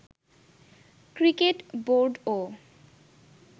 cricket বোর্ডও